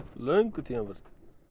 löngu tímabært